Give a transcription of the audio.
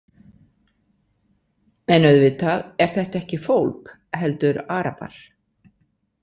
En auðvitað er þetta ekki fólk heldur Arabar.